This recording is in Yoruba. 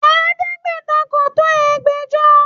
Ẹ̀ẹ́dẹ́gbẹ̀ta kò tó ẹgbẹ̀jọ